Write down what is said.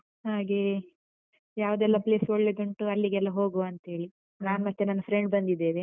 ಹಾಗೆ. ಯಾವುದೆಲ್ಲ place ಒಳ್ಳೇದುಂಟು ಅಲ್ಲಿಗೆಲ್ಲ ಹೋಗುವಾಂತ ಹೇಳಿ. ನಾನು ಮತ್ತೆ ನನ್ನ friend ಬಂದಿದ್ದೇವೆ.